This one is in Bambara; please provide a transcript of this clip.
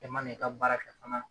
E ma n'i ka baara ka fana